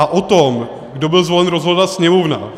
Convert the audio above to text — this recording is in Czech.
A o tom, kdo byl zvolen, rozhodla Sněmovna.